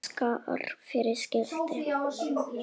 Skarð fyrir skildi.